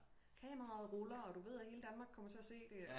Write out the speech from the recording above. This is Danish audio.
Kameraet ruller og du ved at hele Danmark kommer til at se det